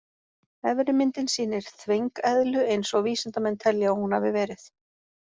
Efri myndin sýnir þvengeðlu eins og vísindamenn telja að hún hafi verið.